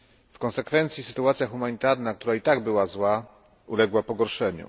W konsekwencji sytuacja humanitarna, która i tak była zła, uległa pogorszeniu.